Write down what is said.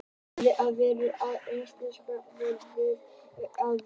Þjóðverjinn hafði veður af því, að íslensk fjallagrös væru einkar heilnæm fæða.